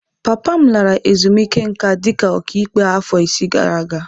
Papa m lara ezumike nká dị ka ọkàikpe afọ isii gara aga.